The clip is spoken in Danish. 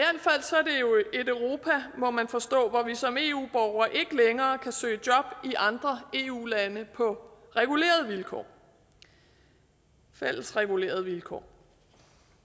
et europa må man forstå hvor vi som eu borgere ikke længere kan søge job i andre eu lande på regulerede vilkår fælles regulerede vilkår